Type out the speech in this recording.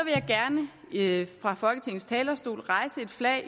vil jeg fra folketingets talerstol hejse et flag